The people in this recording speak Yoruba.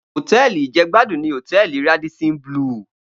Hótèlí ijègbádún ni hótèlí Ràdísín blúù